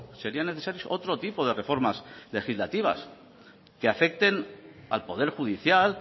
serían necesarios otro tipo de reformas legislativas que afecten al poder judicial